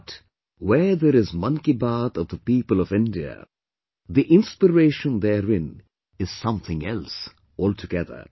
But, where there is Mann Ki Baat of the people of India, the inspiration therein is something else altogether